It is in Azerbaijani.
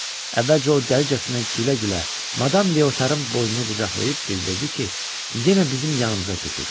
Əvvəlcə o dəlicəsinə gülə-gülə madam Leotarın boynunu qucaqlayıb bildirdi ki, yenə bizim yanımıza köçür.